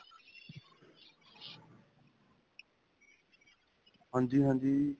ਹਾਂਜੀ, ਹਾਂਜੀ.